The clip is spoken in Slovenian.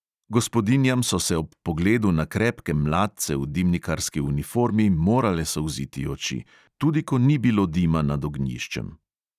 Gospodinjam so se ob pogledu na krepke mladce v dimnikarski uniformi morale solziti oči – tudi ko ni bilo dima nad ognjiščem.